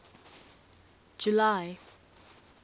july